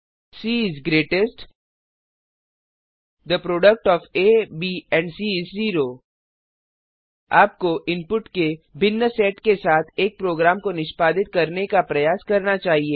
C is greatest the product of A B and C is zero आपको input के भिन्न set के साथ इस प्रोग्राम को निष्पादित करने का प्रयास करना चाहिए